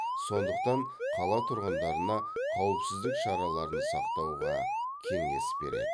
сондықтан қала тұрғындарына қауіпсіздік шараларын сақтауға кеңес береді